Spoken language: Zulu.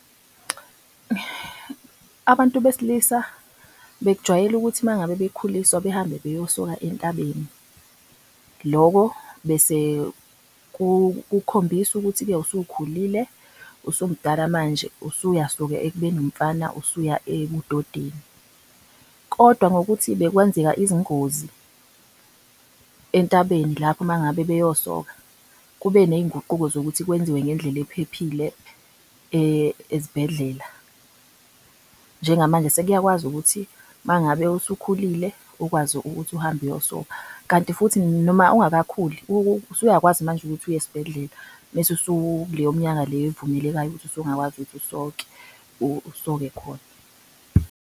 Abantu besilisa bekujwayele ukuthi mengabe bekhuliswa behambe beyosoka entabeni, lokho bese kukhombisa ukuthi-ke usukhulile, usumdala manje usuyasuka ekubeni umfana usuya ebudeni, kodwa ngokuthi bekwenzeka izingozi entabeni lapho mangabe beyosoka kube nezinguquko zokuthi kwenziwe ngendlela ephephile ezibhedlela. Njengamanje sekuyakwazi ukuthi mangabe usukhulile ukwazi ukuthi uhambe uyosokha kanti futhi noma ungakakhuli usuyakwazi manje ukuthi uye esibhedlela bese usuneminyaka le ovumelekile ukuthi usungakwazi ukuthi usoke usoke khona